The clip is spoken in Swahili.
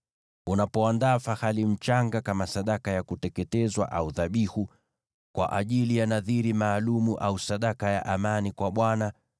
“ ‘Unapoandaa fahali mchanga kama sadaka ya kuteketezwa au dhabihu, kwa ajili ya nadhiri maalum au sadaka ya amani kwa Bwana ,